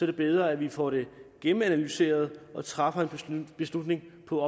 det bedre at vi får det gennemanalyseret og træffer en beslutning på